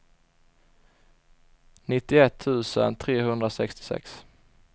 nittioett tusen trehundrasextiosex